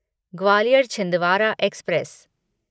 Gwalior Chhindwara express